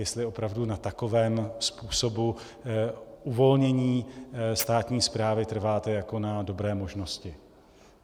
Jestli opravdu na takovém způsobu uvolnění státní správy trváte jako na dobré možnosti.